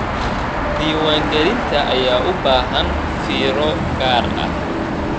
Diiwaangelinta ayaa u baahan fiiro gaar ah.